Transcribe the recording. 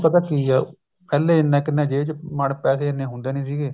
ਪਤਾ ਕੀ ਆ ਪਹਿਲਾਂ ਇੰਨਾ ਕਿੰਨੇ ਮਤਲਬ ਪੈਸੇ ਇੰਨੇ ਹੁੰਦੇ ਨਹੀਂ ਸੀਗੇ